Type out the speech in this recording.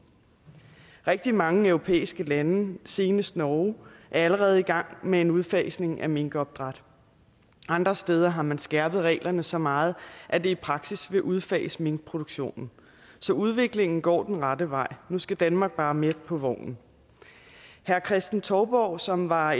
rigtig mange europæiske lande senest norge er allerede i gang med en udfasning af minkopdræt andre steder har man skærpet reglerne så meget at det i praksis vil udfase minkproduktionen så udviklingen går den rette vej nu skal danmark bare med på vognen herre kristen touborg som var